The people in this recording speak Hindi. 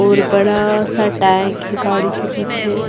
और बड़ा सा टैंक है गाड़ी के पीछे।